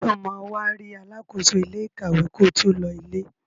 Sọ ma wá rí alákóso ilé ìkàwé ko tó lọ ilé?